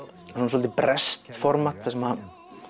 svolítið breskt format þar sem